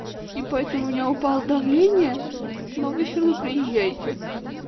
и поэтому у меня упало давление новые фильмы приезжаете